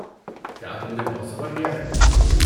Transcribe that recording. کیا تم نے بہت سفر کیا ہے؟